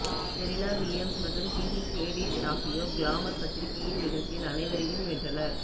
Serena Williams மற்றும் Gigi Hadid ஆகியோர் Glamour பத்திரிகையின் நிகழ்ச்சியில் அனைவரையும் வென்றனர்